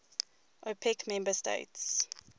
opec member states